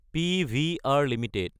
PVR Ltd